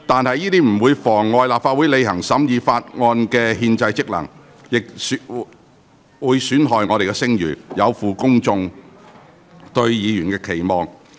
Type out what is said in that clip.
這不但妨礙立法會履行審議法案的憲制職能，亦損害立法會的聲譽，有負公眾對議員的期望。